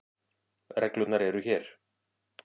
Reglurnar eru hér.